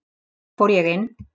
Þá fór ég inn.